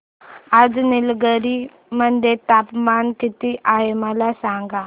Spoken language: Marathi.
आज निलगिरी मध्ये तापमान किती आहे मला सांगा